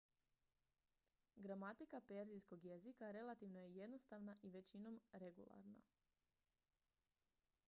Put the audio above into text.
gramatika perzijskog jezika relativno je jednostavna i većinom regularna